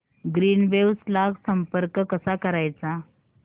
Greenwaves ला संपर्क कसा करायचा